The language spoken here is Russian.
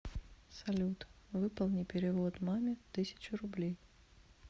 салют выполни перевод маме тысячу рублей